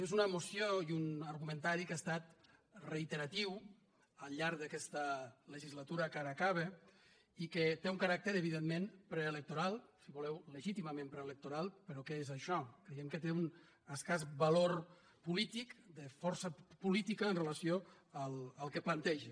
és una moció i un argumentari que ha estat reiteratiu al llarg d’aquesta legislatura que ara acaba i que té un caràcter evidentment preelectoral si voleu legítimament preelectoral però que és això creiem que té un escàs valor polític de força política amb relació al que planteja